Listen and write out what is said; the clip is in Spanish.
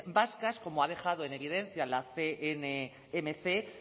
vascas como ha dejado en evidencia la cnmc